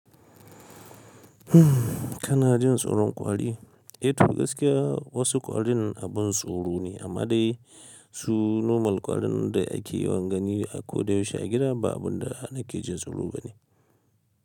Kana jin tsoron kwaɗi? E to gaskiya wasu kwarin abin tsoro ne, amma dai su normal kwarin da ake yawan gani a ko da yaushe a gida ba abin da na ke jin tsoro ba ne.